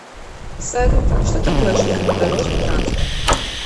салют что такое железнодорожный транспорт